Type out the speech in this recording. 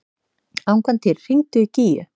Angantýr, hringdu í Gígju.